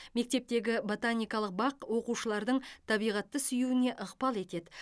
мектептегі ботаникалық бақ оқушылардың табиғатты сүюіне ықпал етеді